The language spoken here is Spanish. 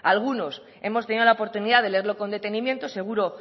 algunos hemos tenido la oportunidad de leerlo con detenimiento seguro